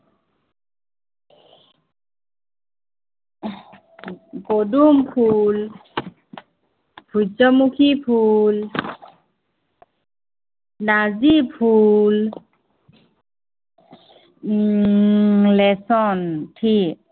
পদুম ফুল, সূৰ্যমুখী ফুল নাৰ্জি ফুল উম lesson three